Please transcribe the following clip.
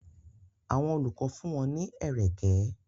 Àwọn olùkọ́ fún wọn ní ẹ̀rẹ̀kẹ́.